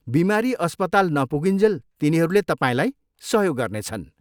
बिमारी अस्पताल नपुगुन्जेल तिनीहरूले तपाईँलाई सहयोग गर्नेछन्।